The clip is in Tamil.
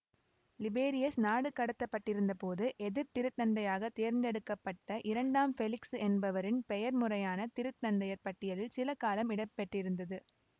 லிபேரியஸ் நாடு கடத்த பட்டிருந்த போது எதிர்திருத்தந்தையாக தேர்ந்தெடுக்க பட்ட இரண்டாம் பெலிக்சு என்பவரின் பெயர் முறையான திருத்தந்தையர் பட்டியலில் சில காலம் இடம்பெற்றிருந்தது